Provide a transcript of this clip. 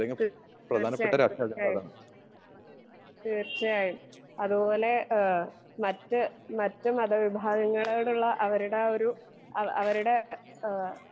തീ തീർച്ചായും തീർച്ചായും തീർച്ചായും അതുപോലെ ഏഹ് മറ്റേ മറ്റേ മത വിഭാവങ്ങളോടുള്ള അവരുടെ ആ ഒരു ആ അവരുടെ ഏഹ്